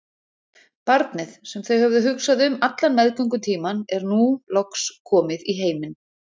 Barnið, sem þau höfðu hugsað um allan meðgöngutímann, er nú loks komið í heiminn.